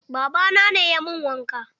Baba na ne ya min wanka.